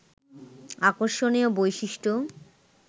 আকর্ষণীয় বৈশিষ্ট্য